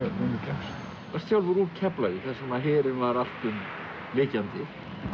sjálfur úr Keflavík þar sem að herinn var allt um lykjandi